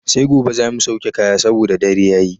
Sai gobe za mu sauke kaya saboda dare yayi.